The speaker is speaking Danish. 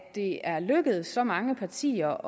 det er lykkedes så mange partier